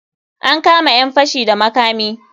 An kama ƴan fashi da makami.